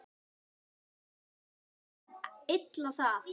Menn þola illa það.